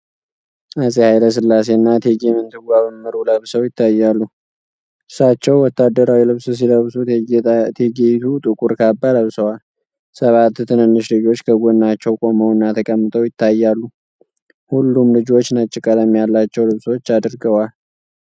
አጼ ኃይለ ሥላሴና እቴጌ ምንትዋብ እምሩ ለብሰው ይታያሉ። እርሳቸው ወታደራዊ ልብስ ሲለብሱ፣ እቴጌይቱ ጥቁር ካባ ለብሰዋል። ሰባት ትንንሽ ልጆች ከጎናቸው ቆመውና ተቀምጠው ይታያሉ፤ ሁሉም ልጆች ነጭ ቀለም ያላቸው ልብሶች አድርገዋል።